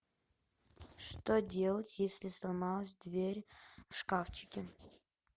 что делать если сломалась дверь в шкафчике